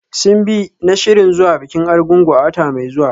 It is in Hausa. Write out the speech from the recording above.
Simbi na shirin zuwa bikin Arugungu a wata mai zuwa.